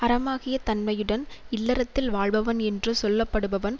அறமாகிய தன்மையுடன் இல்லறத்தில் வாழபவன் என்று சொல்லப்படுபவன்